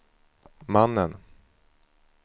mannen